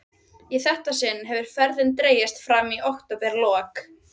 Ég hætti sjálfsagt við það sökum þrekleysis.